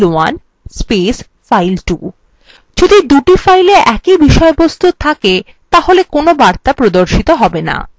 যদি দুটি files এ একই বিষয়বস্তু থাকে তবে কোন বার্তা প্রদর্শিত have no